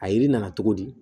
A yiri nana cogo di